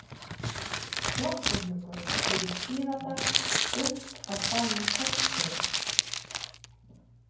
Gloppuhnjúkur er í Skíðadal upp af bænum Kóngsstöðum.